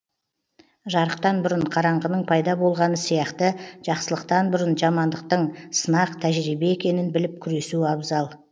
жарықтан бұрын қараңғының пайда болғаны сияқты жақсылықтан бұрын жамандықтың сынақ тәжрибе екенін біліп күресу абзал